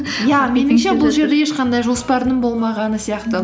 иә бұл жерде ешқандай жоспардың болмағаны сияқты